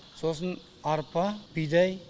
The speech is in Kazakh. сосын арпа бидай